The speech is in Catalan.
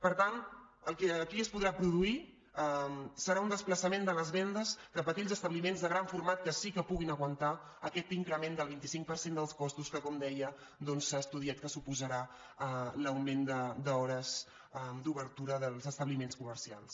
per tant el que aquí es podrà produir serà un desplaçament de les vendes cap a aquells establiments de gran format que sí que puguin aguantar aquest increment del vint cinc per cent dels costos que com deia s’ha estudiat que suposarà l’augment d’hores d’obertura dels establiments comercials